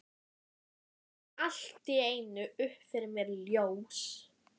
Lygnum aftur augunum, hvort með sinn ullarsokkinn undir hausnum.